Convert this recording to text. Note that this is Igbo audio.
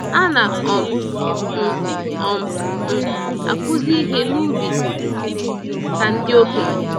Ana um m um m akuzi ihe n'ubi ka ndị okenye.